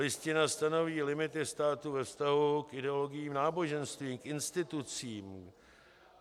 Listina stanoví limity státu ve vztahu k ideologiím náboženským, k institucím.